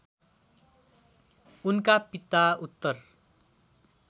उनका पिता उत्तर